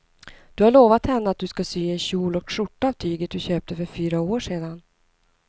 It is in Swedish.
Du har lovat henne att du ska sy en kjol och skjorta av tyget du köpte för fyra år sedan.